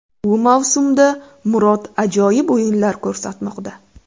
Bu mavsumda Murod ajoyib o‘yinlar ko‘rsatmoqda.